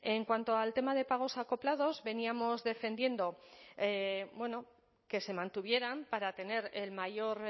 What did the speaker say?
en cuanto al tema de pagos acoplados veníamos defendiendo que se mantuvieran para tener el mayor